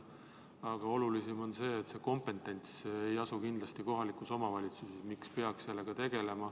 Aga olulisem on see, et nende asjadega tegelemise kompetents ei asu kindlasti kohalikus omavalitsuses.